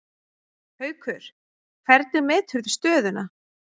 Haukur: Hvernig meturðu stöðuna?